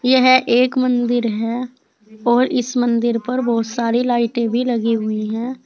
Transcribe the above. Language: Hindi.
यह एक मंदिर है और इस मंदिर पर बहोत सारी लाइटे भी लगी हुई है।